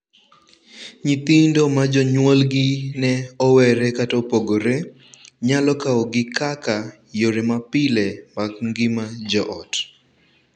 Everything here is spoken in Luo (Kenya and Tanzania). Nyithindo ma jonyuolgi ne owere kata opogore nyalo kawogi kaka yore mapile mag ngima joot.